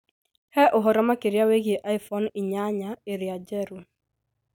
He ũhoro makĩria wĩgiĩ iPhone inyanya ĩrĩa njerũ.